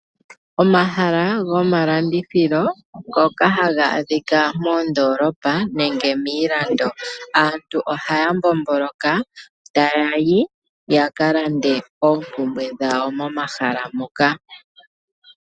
Omahala gomalandithilo ngoka haga adhika moondolopa nenge miilando. Aantu ohaya mbomboloka taya yi ya kalande oompumbwe dhawo momahala moka.